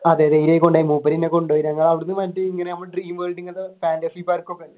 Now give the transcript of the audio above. അതെ ധൈര്യമായി കൊണ്ടുപോയി മൂപ്പർ എന്നെ കൊണ്ടുപോയി ഞങ്ങൾ അവിടെന്നു